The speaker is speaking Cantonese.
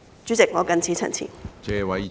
主席，我謹此陳辭。